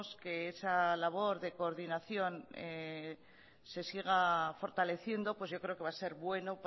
que esa labor de coordinación se siga fortaleciendo yo creo que va a ser bueno